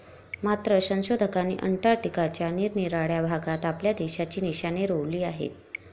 मात्र संशोधकांनी अंटार्टिका च्या निरनिराळ्या भागात आपल्या देशाची निशाने रोवली आहेत